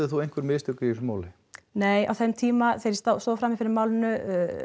þú einhver mistök í þessu máli nei á þeim tíma þegar ég stóð frammi fyrir málinu